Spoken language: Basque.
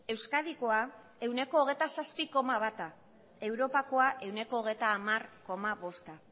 euskadikoa ehuneko hogeita zazpi koma bata europakoa ehuneko hogeita hamar koma bosta